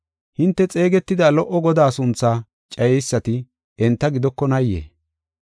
Hinte xeegetida lo77o Godaa sunthaa cayeysati enta gidokonaayee?